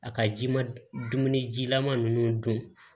A ka ji ma dumuni jilaman ninnu don